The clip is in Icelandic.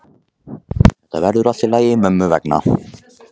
Þetta verður allt í lagi mömmu vegna.